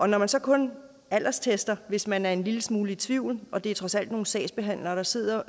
når man så kun alderstester hvis man er en lille smule i tvivl og det er trods alt nogle sagsbehandlere der sidder